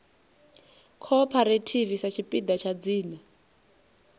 cooperative sa tshipiḓa tsha dzina